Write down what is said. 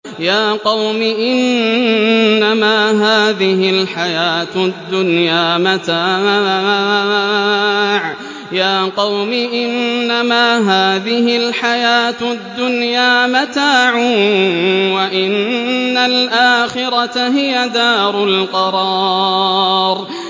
يَا قَوْمِ إِنَّمَا هَٰذِهِ الْحَيَاةُ الدُّنْيَا مَتَاعٌ وَإِنَّ الْآخِرَةَ هِيَ دَارُ الْقَرَارِ